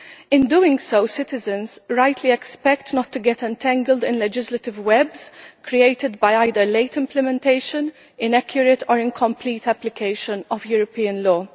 In doing so, citizens rightly expect not to get entangled in legislative webs created by either late implementation, or inaccurate or incomplete application of European law.